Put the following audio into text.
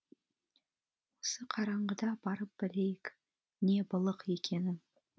осы қараңғыда барып білейік не былық екенін